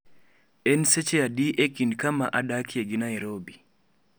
En seche adi e kind kama adakie gi Nairobi